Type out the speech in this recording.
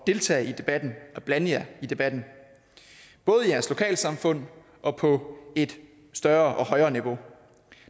deltage i debatten og blande jer i debatten både i jeres lokalsamfund og på et større og højere niveau